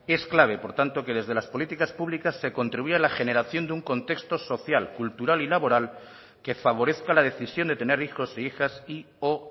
es clave por tanto que desde las políticas públicas se contribuya a la generación de un contexto social cultural y laboral que favorezca la decisión de tener hijos e hijas y o